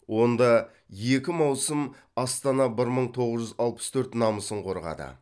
онда екі маусым астана бір мың тоғыз жүз алпыс төрт намысын қорғады